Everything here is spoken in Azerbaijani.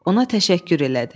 Ona təşəkkür elədi.